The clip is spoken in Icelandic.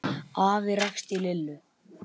Afi rakst á Lillu.